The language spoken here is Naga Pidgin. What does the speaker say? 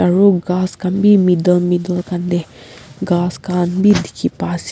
aro ghas khan bi middle middle khan tae ghas khan bi dikhipa ase.